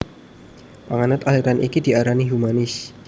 Panganut aliran iki diarani humanis